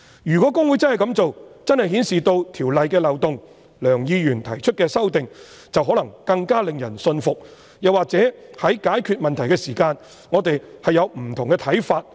如果公會真的這樣做，便真的顯示《條例》的漏洞，而梁議員提出的修正案，便可能更令人信服，又或在解決問題時，我們會有不同的看法。